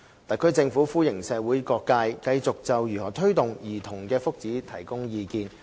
特區政府歡迎社會各界繼續就如何推動兒童的福祉提供意見。